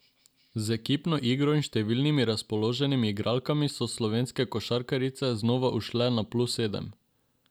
Z ekipno igro in številnimi razpoloženimi igralkami so slovenske košarkarice znova ušle na plus sedem.